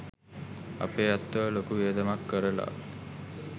අපේ ඇත්තෝ ලොකු වියදමක් කරලා